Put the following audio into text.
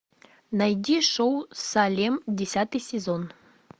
найди шоу салем десятый сезон